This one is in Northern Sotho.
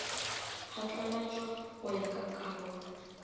phatlalatšwa go ya ka karolo